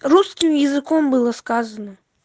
русским языком было сказано